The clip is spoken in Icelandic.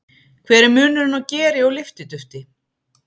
Hver er munurinn á geri og lyftidufti?